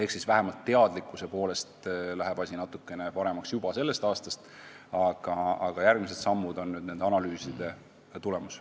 Nii et vähemalt teadlikkuse poolest läheb asi natuke paremaks juba tänavu, aga järgmised sammud astutakse nende analüüside tulemusena.